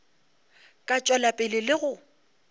ka tšwela pele le go